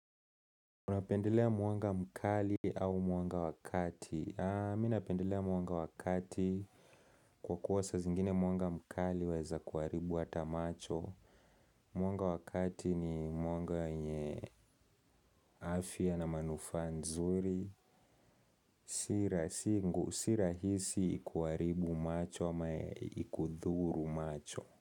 Unapendelea mwanga mkali au mwanga wakati? Mi napendelea mwanga wa kati kwa kuwasa zingine mwanga mkali waweza kuharibu hata macho. Mwanga wa kati ni mwanga wenye afya na manufaa nzuri. Si rahisi kuharibu macho ama ikudhuru macho.